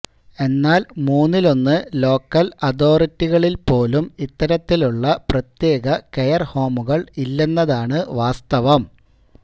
എന്നാൽ മൂന്നിലൊന്ന് ലോക്കൽ അഥോറിറ്റികളിൽ പോലും ഇത്തരത്തിലുള്ള പ്രത്യേക കെയർഹോമുകൾ ഇല്ലെന്നതാണ് വാസ്തവം